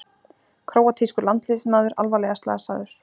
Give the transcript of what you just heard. Króatískur landsliðsmaður alvarlega slasaður